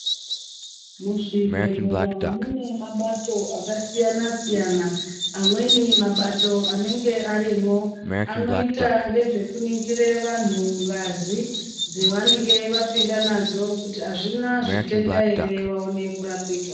Muzvibhedhlera mune mabato akasiyana-siyana. Amweni mabato anenge arimwo anoita ngezvekuningire vantu ngazi dzevanenge vapinda nadzo kuti azvina zvitenda ere vaone kurapika.